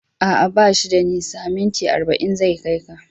A'a, ba shi da nisa, minti arba'in zai kai ka.